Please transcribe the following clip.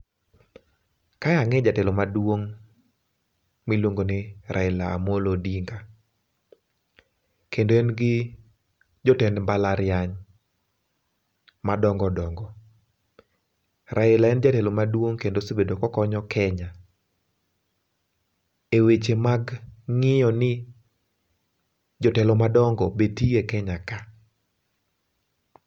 Kae ang'eyo jatelo maduong', miluongoni Raila Amollo Odinga. Kendo en gi jotend mbalariany madongodongo. Raila en jatelo maduong' kendo osebedo kokonyo Kenya e weche mag ng'io ni jotelo madongo bende tie Kenya ka .